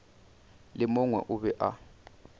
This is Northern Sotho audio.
le mongwe o be a